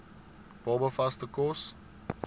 baba vaste kos